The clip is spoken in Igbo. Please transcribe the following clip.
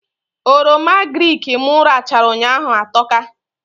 Oroma agrịk mụ rachaa ụnyaahụ atọka